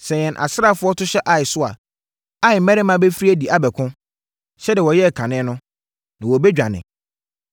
Sɛ yɛn asraafoɔ no to hyɛ Ai so a, Ai mmarima bɛfiri adi abɛko, sɛdeɛ wɔyɛɛ kane no, na yɛbɛdwane.